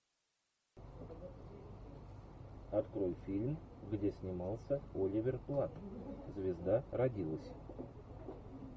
открой фильм где снимался оливер платт звезда родилась